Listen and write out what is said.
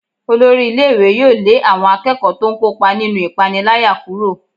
Olórí ilé-ìwé yóò lé àwọn akẹ́kọ̀ọ́ tó ń kópa nínú ìpániláyà kúrò.